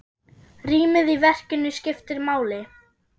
Rýmið í verkinu skiptir máli.